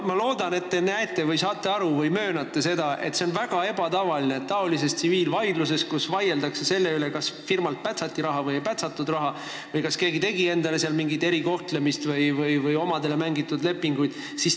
Ma loodan, et te saate aru ja möönate seda, et see kõik on väga ebatavaline, kui tegu on tsiviilvaidlusega, kus vaieldakse selle üle, kas firmalt pätsati raha või ei pätsatud raha või kas keegi sai mingi erikohtlemise osaliseks või omadele mängiti lepinguid kätte.